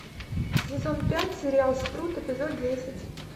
сезон пять сериал спрут эпизод десять